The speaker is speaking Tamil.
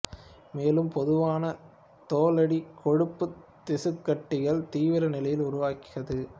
மேலும் பொதுவான தோலடி கொழுப்புத் திசுக்கட்டிகள் தீவிர நிலையை உருவாக்காது